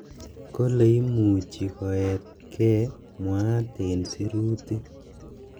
"Kole imuchi koet kei", mwaat ing sirutik.